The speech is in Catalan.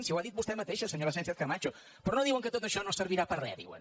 si ho ha dit vostè mateixa senyora sánchezcamacho però no diuen que tot això no servirà per a res diuen